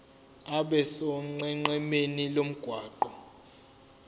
abe sonqenqemeni lomgwaqo